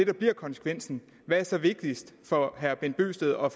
det bliver konsekvensen hvad er så vigtigst for herre bent bøgsted og